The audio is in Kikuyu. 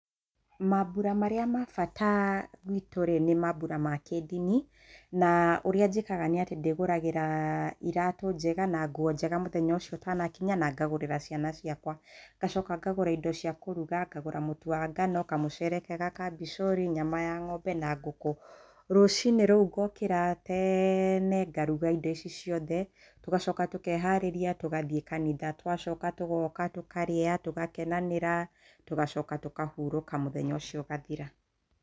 Mambura marĩa ma bata gwĩtũ rĩ nĩ mambura ma kĩndini, na ũrĩa njĩkaga nĩ atĩ ndĩgũragĩra iratũ njega na nguo njega mũthenya ũcio ũtana kinya na ngagũrĩra ciana ciakwa, nacoka ngagũra indo cia kũruga ngagũra mũtu wa ngano kamucere kega ka bishori nyama ya ng'ombe na ngũkũ rũcinĩ rũu ngokĩra tene ngaruga indo ici ciothe tũgacoka tũkeharĩria tũgathiĩ kanitha tũgacoka tũgoka tũkarĩa tũgakenanĩra tũgacoka tũkahũrũka mũthenya ũcio ũgathira.